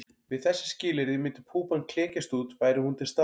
Við þessi skilyrði myndi púpan klekjast út væri hún til staðar.